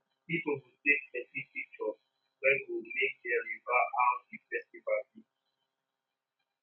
pipo go take plenti picshur wey go mek dem remmba how di festival bi